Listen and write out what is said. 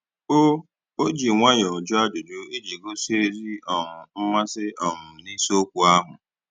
O O ji nwayọọ jụọ ajụjụ iji gosi ezi um mmasị um n'isiokwu ahụ